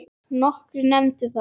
Nokkrir nefndu það.